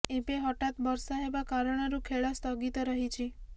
ଏବେ ହଠାତ୍ ବର୍ଷା ହେବା କାରଣରୁ ଖେଳ ସ୍ଥଗିତ ରହିଛି